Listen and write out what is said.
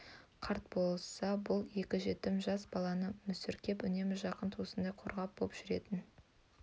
қарт болса бұл екі жетім жас баланы мүсіркеп үнемі жақын туысындай қорғаны боп жүретін